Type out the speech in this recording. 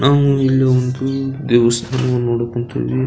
ನಾವು ಇಲ್ಲಿ ಒಂದು ದೇವಸ್ಥಾನವನ್ನು ನೋಡೋಕ್ ಹೊಂತೀವಿ.